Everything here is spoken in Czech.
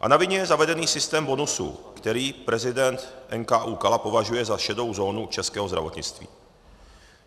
A na vině je zavedený systém bonusů, který prezident NKÚ Kala považuje za šedou zónu českého zdravotnictví.